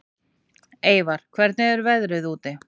Eyvar, hvernig er veðrið úti?